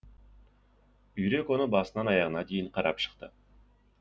үйрек оны басынан аяғына дейін қарап шықты